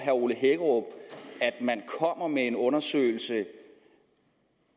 man kommer med en undersøgelse